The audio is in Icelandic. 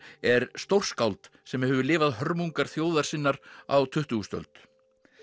er stórskáld sem hefur lifað hörmungar þjóðar sinnar á tuttugustu öld